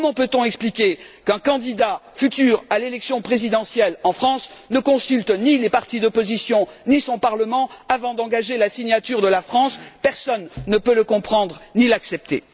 Comment peut on expliquer qu'un futur candidat à l'élection présidentielle en France ne consulte ni les partis d'opposition, ni son parlement avant d'engager la signature de la France? Personne ne peut le comprendre ni l'accepter.